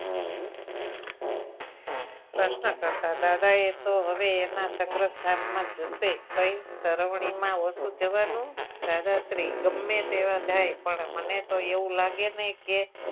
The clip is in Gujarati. પ્રશ્ન કરતા દાદા એતો હવે સંગ્રહ સ્થાનમાં જશે કઈ સરવણી માં ઓછુ જવાનું દાદાશ્રી ગમે તેવા જાય પણ મને એવું લાગે નહી કે